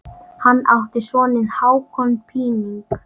Hann átti soninn Hákon Píning.